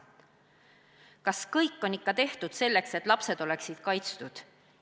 Kas ikka on tehtud kõik, et lapsed oleksid kaitstud?